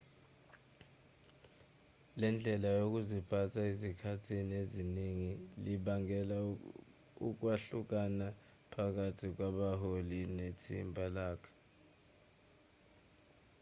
le ndlela yokuziphatha ezikhathini eziningi libangela ukwahlukana phakathi kwabaholi nethimba lonke